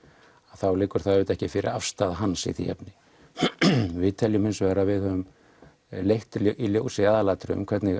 þá liggur auðvitað ekki fyrir afstaða hans í því efni við teljum hins vegar að við höfum leitt í ljós í aðalatriðum hvernig